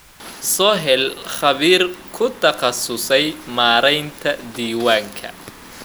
Soo hel khabiir ku takhasusay maareynta diiwaanka.